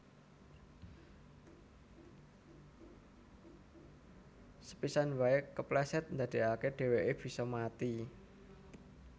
Sepisan waé keplèsèt ndadèkaké dhèwèké bisa mati